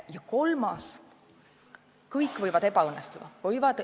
Ja kolmandaks: kõik võivad alt minna.